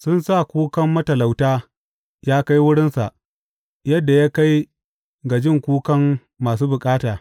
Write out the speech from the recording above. Sun sa kukan matalauta ya kai wurinsa yadda ya kai ga jin kukan masu bukata.